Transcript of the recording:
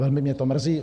Velmi mě to mrzí.